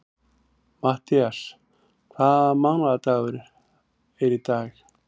Matthías, hvaða mánaðardagur er í dag?